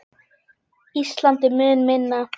Ísland er mun minna.